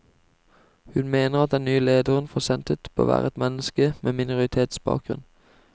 Hun mener at den nye leder for senteret bør være et menneske med minoritetsbakgrunn.